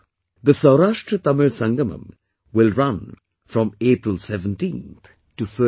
The 'SaurashtraTamil Sangamam' will run from April 17 to 30